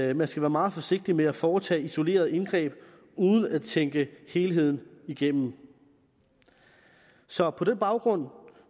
at man skal være meget forsigtig med at foretage isolerede indgreb uden at tænke helheden igennem så på den baggrund